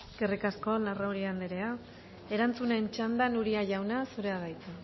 eskerrik asko larrauri andrea erantzunen txandan uria jauna zurea da hitza